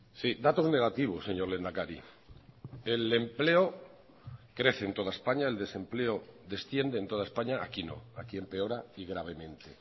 sí datos negativos señor lehendakari el empleo crece en toda españa el desempleo desciende en toda españa aquí no aquí empeora y gravemente